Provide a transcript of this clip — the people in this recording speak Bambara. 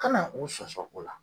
Kana u sɔsɔ o la.